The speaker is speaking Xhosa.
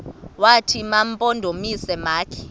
wathi mampondomise makhe